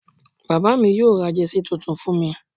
bàbá mi yóò ra Jersey titun fún mi